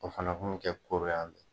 O fana kun bi kɛ koro yan